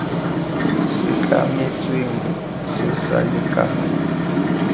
se tlametsweng se sa lekana